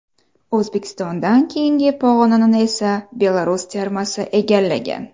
O‘zbekistondan keyingi pog‘onani esa Belarus termasi egallagan.